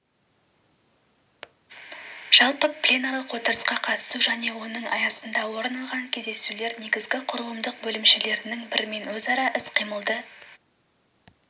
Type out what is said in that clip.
жалпы пленарлық отырысқа қатысу және оның аясында орын алған кездесулер негізгі құрылымдық бөлімшелерінің бірімен өзара іс-қимылды